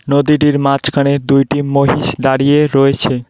নদীটির মাঝখানের দুইটি মহিষ দাঁড়িয়ে রয়েছে।